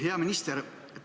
Hea minister!